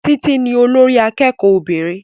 Títí ní olórí akẹ́kọ̀ọ́ obìnrin